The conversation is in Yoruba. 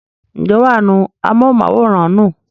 ǹjẹ́ wà á nu amóhùnmáwòrán nù?